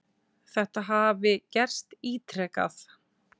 Þetta hafi gerst ítrekað.